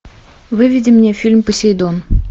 выведи мне фильм посейдон